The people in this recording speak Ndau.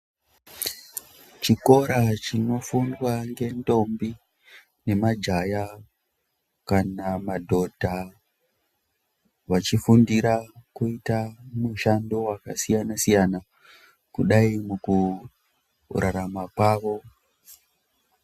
Chikora chinofundwa ngendombi nemajaya kana madhodha vachifundira kuita mushando wakasiyana siyana kudai mukurarama kwavo.